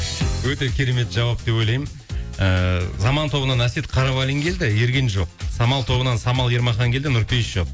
өте керемет жауап деп ойлаймын ііі заман тобынан әсет қарабалин келді ерген жоқ самал тобынан самал ермахан келді нұрпейіс жоқ